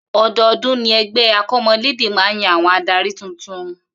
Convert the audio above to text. O̩do̩o̩dún ni e̩gbé̩ akò̩mo̩lédè máa ń yan àwo̩n adarí tuntun